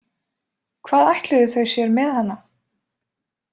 Hvað ætluðu þau sér með hana?